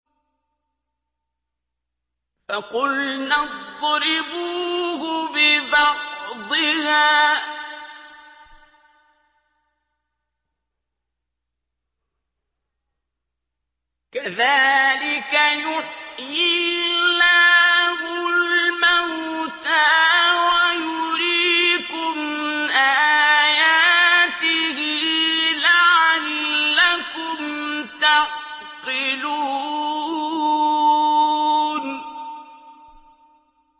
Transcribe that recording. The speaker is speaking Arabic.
فَقُلْنَا اضْرِبُوهُ بِبَعْضِهَا ۚ كَذَٰلِكَ يُحْيِي اللَّهُ الْمَوْتَىٰ وَيُرِيكُمْ آيَاتِهِ لَعَلَّكُمْ تَعْقِلُونَ